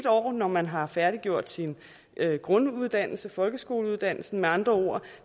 år når man har færdiggjort sin grunduddannelse folkeskoleuddannelsen med andre ord